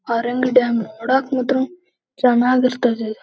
ಪಕ್ಕದಾಗ್ ನಿತ್ಕಳಕ್ಕೆಲ್ಲ ಜಾಗ ಐ--